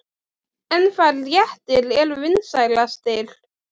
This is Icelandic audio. En hvaða réttir eru vinsælastir?